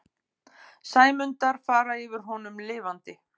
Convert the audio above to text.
Sæmundar fara yfir honum lifandi.